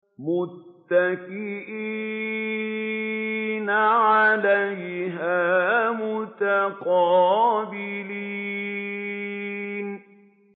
مُّتَّكِئِينَ عَلَيْهَا مُتَقَابِلِينَ